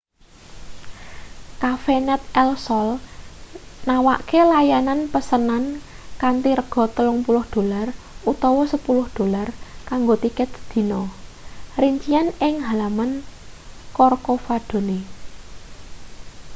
cafenet el sol nawakake layanan pesenan kanthi rega 30 dolar utawa 10 dolar kanggo tiket sedina rincian ing halaman corcovadone